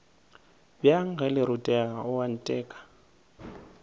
bjang ge le rutega oanteka